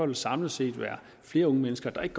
der samlet set være flere unge mennesker der ikke